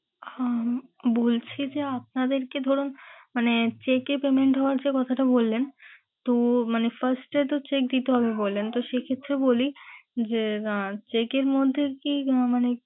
উম বলছি যে আপনাদেরকে ধরুন মানে cheque এ তো main দেওয়ার কথাটা বললেন, তো মানে first এ তো cheque দিতে হবে বললেন তো সে ক্ষেত্রে বলি যে আহ cheque এর মধ্যে কি মানে,